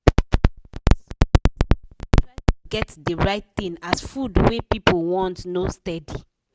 people wey get small business dey try to get de right thing as food wey people want no steady.